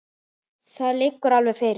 Það liggur alveg fyrir.